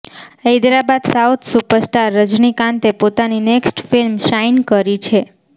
Hyderabad south superstar રજનીકાંતે પોતાની next film sign કરી છે